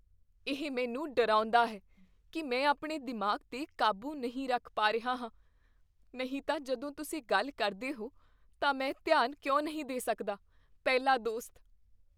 ਇਹ ਮੈਨੂੰ ਡਰਾਉਂਦਾ ਹੈ ਕੀ ਮੈਂ ਆਪਣੇ ਦਿਮਾਗ਼ 'ਤੇ ਕਾਬੂ ਨਹੀਂ ਰੱਖ ਪਾ ਰਿਹਾ ਹਾਂ, ਨਹੀਂ ਤਾਂ ਜਦੋਂ ਤੁਸੀਂ ਗੱਲ ਕਰਦੇ ਹੋ ਤਾਂ ਮੈਂ ਧਿਆਨ ਕਿਉਂ ਨਹੀਂ ਦੇ ਸਕਦਾ? ਪਹਿਲਾ ਦੋਸਤ